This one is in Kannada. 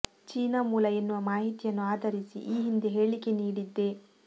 ಚೀನಾ ಮೂಲ ಎನ್ನುವ ಮಾಹಿತಿಯನ್ನು ಆಧರಿಸಿ ಈ ಹಿಂದೆ ಹೇಳಿಕೆ ನೀಡಿದ್ದೆ